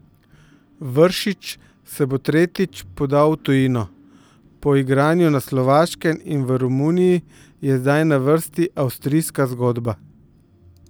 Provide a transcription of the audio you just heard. Vršič se bo tretjič podal v tujino, po igranju na Slovaškem in v Romuniji je zdaj na vrsti avstrijska zgodba.